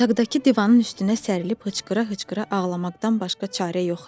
Otaqdakı divanın üstünə sərilip hıçqıra-hıçqıra ağlamaqdan başqa çarə yox idi.